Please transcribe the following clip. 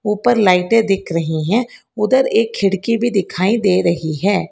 ऊपर लाइटें दिख रही हैं उधर एक खिड़की भी दिखाई दे रही है।